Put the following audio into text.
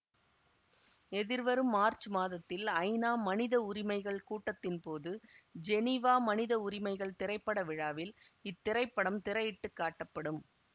எதிர்வரும் மார்ச்சு மாதத்தில் ஐநா மனித உரிமைகள் கூட்டத்தின்போது ஜெனீவா மனித உரிமைகள் திரைப்பட விழாவில் இத்திரைப்படம் திரையிட்டுக் காட்டப்படும்